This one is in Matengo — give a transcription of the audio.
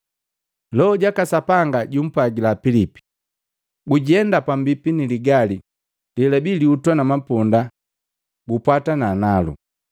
Loho jaka Sapanga jumpwagila Pilipi, “Gujenda pambipi ni ligali lelabii lihutwa na maponda gupwatana nalu.”